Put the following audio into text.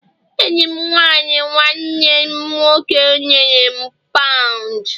enyi m nwanyi nwanne m nwoke nyere m pound